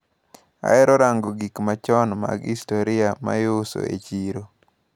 Ahero rango gikmachon mag historia maiuso e chiro.